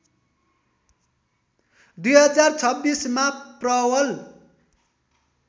२०२६ मा प्रवल